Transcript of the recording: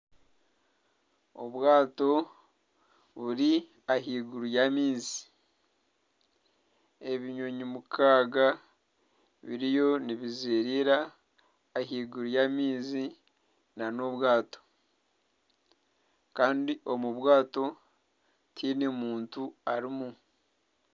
Obwato buri ahaiguru y'amaizi. Ebinyonyi mukaaga biriyo nibizeereera ahaiguru y'amaizi nana obwato. Kandi omu bwato tihaine muntu arimu.